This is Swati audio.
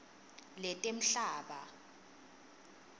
letemhlaba